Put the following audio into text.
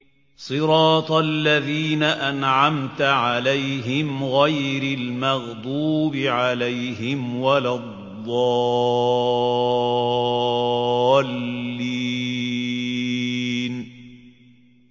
صِرَاطَ الَّذِينَ أَنْعَمْتَ عَلَيْهِمْ غَيْرِ الْمَغْضُوبِ عَلَيْهِمْ وَلَا الضَّالِّينَ